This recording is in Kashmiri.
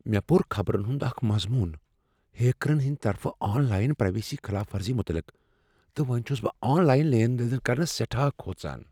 مےٚ پوٚر خبرن ہنٛد اکھ مضمون ہیکرن ہنٛد طرفہٕ آن لاین پرایویسی خلاف ورزی متعلق، تہٕ وۄنۍ چھس بہٕ آن لاین لین دین کرنس سیٹھاہ کھوژان۔